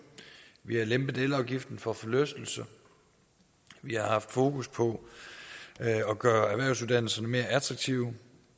vi har lempet elafgiften for forlystelser vi har haft fokus på at gøre erhvervsuddannelserne mere attraktive